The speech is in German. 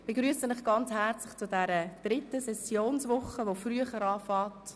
Ich begrüsse Sie herzlich zu dieser dritten Sessionswoche, die früher beginnt als sonst.